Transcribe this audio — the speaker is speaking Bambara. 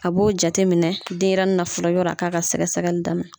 A b'o jate minɛ denyɛrɛnin na fɔlɔ yɔrɔ a ka ka sɛgɛsɛgɛli daminɛ.